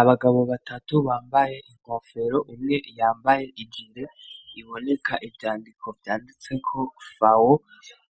Abagabo batatu bambaye inkofero umwe yambaye iginde iboneka ivyandiko vyanditse kokfawo